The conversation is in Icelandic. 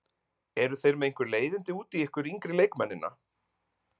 Eru þeir með einhver leiðindi út í ykkur yngri leikmennina?